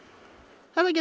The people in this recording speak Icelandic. þetta getur